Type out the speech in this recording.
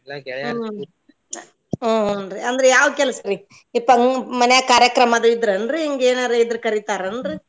ಹ್ಮ್ ಹುನ್ರೀ ಅಂದ್ರ ಯಾವ್ ಕೆಲ್ಸ ರಿ ಇತಾಗಿನ್ನು ಮನ್ಯಾಗ್ ಕಾರ್ಯಕ್ರಮದು ಇದ್ರ ಏನ್ರೀ ಹಿಂಗ್ ಏನಾದ್ರೂ ಇದ್ರ ಅಂದ್ರ ಕರಿತಾರ ಏನ್ರೀ